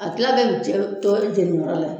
A kila bɛɛ bi cɛn to jeni yɔrɔ la